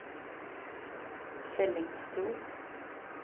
Fellingsbro